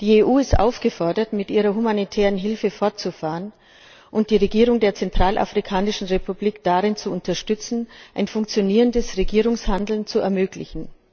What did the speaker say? Die EU ist aufgefordert, mit ihrer humanitären Hilfe fortzufahren und die Regierung der Zentralafrikanischen Republik darin zu unterstützen, ein funktionierendes Regierungshandeln zu ermöglichen.